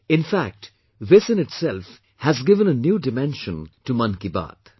In fact it in itself has given a new dimension to 'Mann Ki Baat'